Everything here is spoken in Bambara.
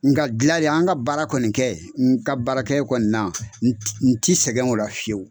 Nka dilali an ka baara kɔni kɛ n ka baarakɛyɔrɔ kɔni na n ti sɛgɛn o la fiyewu.